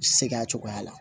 Seg'a cogoya la